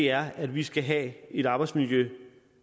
er at vi skal have et arbejdsmiljø